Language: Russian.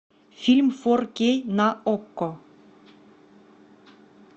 фильм фор кей на окко